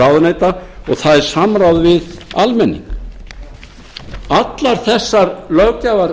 ráðuneyta og það er samráð við almenning allar þessar löggjafarreglur